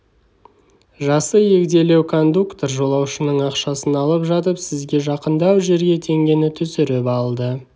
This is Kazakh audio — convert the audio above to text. жасы егделеу кондуктор жолаушының ақшасын алып жатып сізге жақындау жерге теңгені түсіріп алды